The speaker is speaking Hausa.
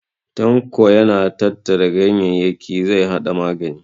Tanko yana tattara ganyayyaki zai haɗa magani.